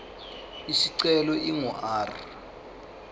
isicelo ingu r